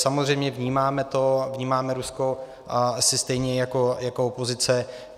Samozřejmě vnímáme to, vnímáme Rusko asi stejně jako opozice.